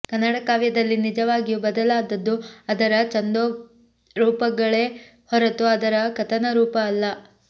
ಕನ್ನಡ ಕಾವ್ಯದಲ್ಲಿ ನಿಜವಾಗಿಯೂ ಬದಲಾದದ್ದು ಅದರ ಛಂದೋರೂಪಗಳೇ ಹೊರತು ಅದರ ಕಥನರೂಪ ಅಲ್ಲ